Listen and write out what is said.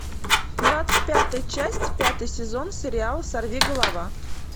двадцать пятая часть пятый сезон сериала сорвиголова